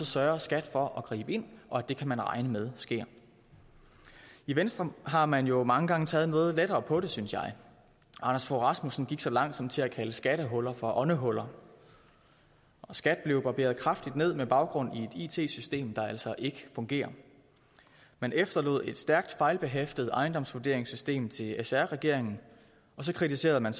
sørger skat for at gribe ind og at det kan man regne med sker i venstre har man jo mange gange taget noget lettere på det synes jeg anders fogh rasmussen gik så langt som til at kalde skattehuller for åndehuller og skat blev barberet kraftigt ned med baggrund i et it system der altså ikke fungerer man efterlod et stærkt fejlbehæftet ejendomsvurderingssystem til sr regeringen og så kritiserede man